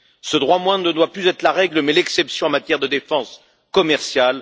Ce droit moindre ne doit plus être la règle mais l'exception en matière de défense commerciale.